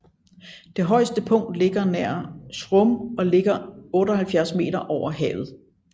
Det højeste punkt ligger nær Schrum og ligger 78 m over havet